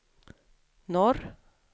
norr